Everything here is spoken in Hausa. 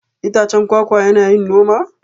Itacen kwakwa yana yin noma?